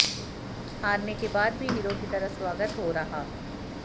हारने के बाद भी हीरो की तरह स्वागत हो रहा